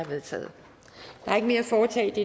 vedtaget